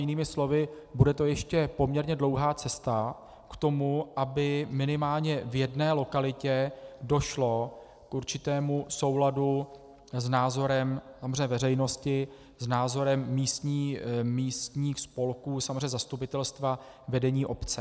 Jinými slovy, bude to ještě poměrně dlouhá cesta k tomu, aby minimálně v jedné lokalitě došlo k určitému souladu s názorem samozřejmě veřejnosti, s názorem místních spolků, samozřejmě zastupitelstva, vedení obce.